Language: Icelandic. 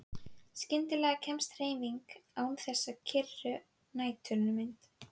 Skyndilega kemst hreyfing á þessa kyrru næturmynd.